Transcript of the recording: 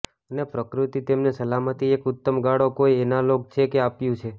અને પ્રકૃતિ તેમને સલામતી એક ઉત્તમ ગાળો કોઈ એનાલોગ છે કે આપ્યું છે